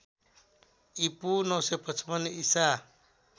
ईपू ९५५ ईसा